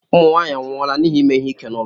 Ụmụ nwaanyị anwụọla n'ihi ime ihe ike n'ụlọ.